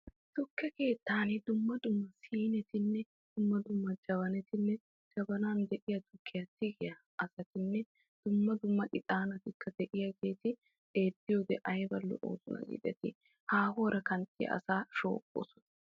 Tukke keettanni dumma dumma siinteti jabanatti qassikka ixaanatti keehi lo'osonna haahuwan biya asaa sshoobosonna.